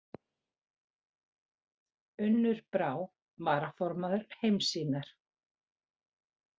Unnur Brá varaformaður Heimssýnar